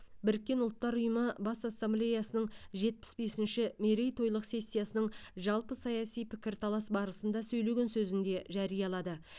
біріккен ұлттар ұйымы бас ассамблеясының жетпіс бесінші мерейтойлық сессиясының жалпы саяси пікірталас барысында сөйлеген сөзінде жариялады